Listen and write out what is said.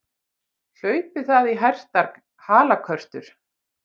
Hlaupi það í hertar halakörtur!